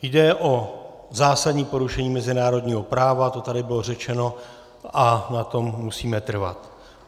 Jde o zásadní porušení mezinárodního práva, to tady bylo řečeno a na tom musíme trvat.